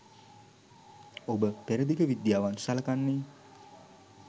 ඔබ පෙරදිග විද්‍යාවන් සලකන්නේ